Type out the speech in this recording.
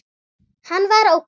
Hann var ókei.